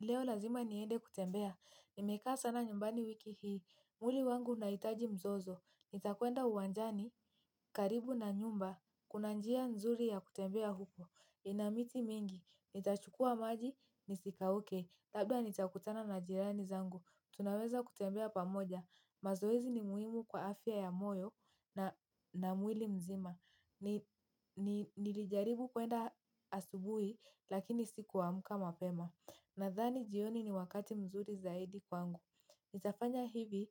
Leo lazima niende kutembea. Nimekaa sana nyumbani wiki hii. Mwili wangu unahitaji mzozo. Nitakuenda uwanjani, karibu na nyumba. Kuna njia nzuri ya kutembea huko. Ina miti mingi. Nitachukua maji, nisikauke. Labda nitakutana na jirani zangu. Tunaweza kutembea pamoja. Mazoezi ni muhimu kwa afya ya moyo na mwili mzima. Nilijaribu kuenda asubuhi lakini sikuamka mapema. Nadhani jioni ni wakati mzuri zaidi kwangu. Nitafanya hivi